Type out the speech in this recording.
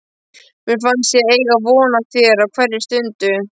Mér finnst ég eiga von á þér á hverri stundu.